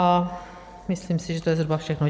A myslím si, že to je zhruba všechno.